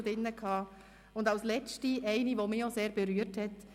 Und als letzte eine, die auch mich sehr berührt hat: